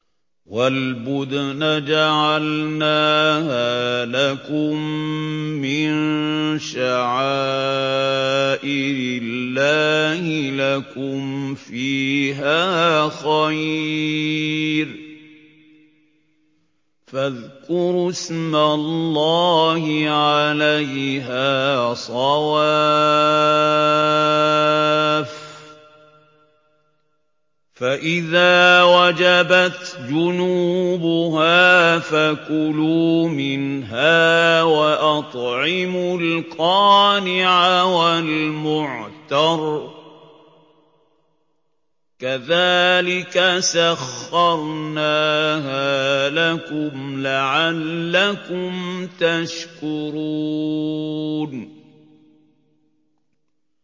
وَالْبُدْنَ جَعَلْنَاهَا لَكُم مِّن شَعَائِرِ اللَّهِ لَكُمْ فِيهَا خَيْرٌ ۖ فَاذْكُرُوا اسْمَ اللَّهِ عَلَيْهَا صَوَافَّ ۖ فَإِذَا وَجَبَتْ جُنُوبُهَا فَكُلُوا مِنْهَا وَأَطْعِمُوا الْقَانِعَ وَالْمُعْتَرَّ ۚ كَذَٰلِكَ سَخَّرْنَاهَا لَكُمْ لَعَلَّكُمْ تَشْكُرُونَ